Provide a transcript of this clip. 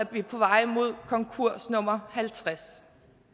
vi på vej mod konkurs nummer halvtreds